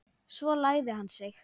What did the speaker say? Svo lagði hann sig.